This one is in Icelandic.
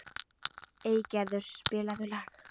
Eygerður, spilaðu lag.